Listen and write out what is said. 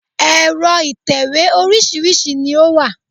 Ẹ̀rọ ìtẹ̀wé oríṣìíríṣìí ni ó wà